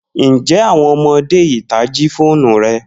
Njẹ awọn ọmọde ita ji foonu rẹ?